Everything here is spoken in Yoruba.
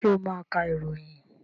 Ṣé ó máa ka ìròyìn?